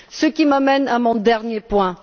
Ceci m'amène à mon dernier point.